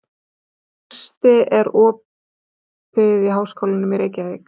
Neisti, er opið í Háskólanum í Reykjavík?